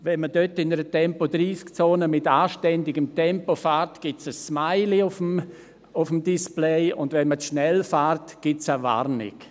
Wenn man dort in einer Tempo-30-Zone in anständigem Tempo fährt, gibt es ein Smilie auf dem Display, und wenn man zu schnell fährt, gibt es eine Warnung.